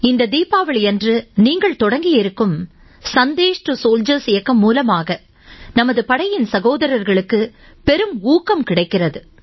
இந்த தீபாவளியன்று நீங்கள் தொடக்கி இருக்கும் Sandesh2Soldiers இயக்கம் மூலமாக நமது படையின் சகோதரர்களுக்கு பெரும் ஊக்கம் கிடைக்கிறது